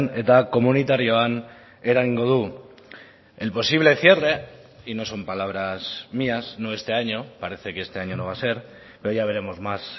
eta komunitarioan eragingo du el posible cierre y no son palabras mías no este año parece que este año no va a ser pero ya veremos más